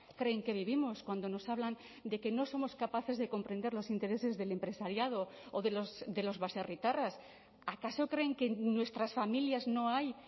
creen que vivimos cuando nos hablan de que no somos capaces de comprender los intereses del empresariado o de los baserritarras acaso creen que en nuestras familias no hay